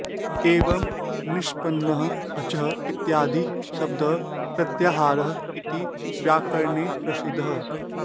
एवं निष्पन्नः अच् इत्यादिः शब्दः प्रत्याहारः इति व्याकरणे प्रसिद्धः